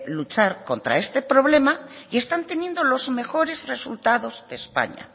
luchar contra este problema y están teniendo los mejores resultados de españa